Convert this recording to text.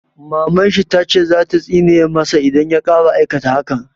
Maman shi ta ce za ta tsine ma sa idan ya ƙara aikata hakan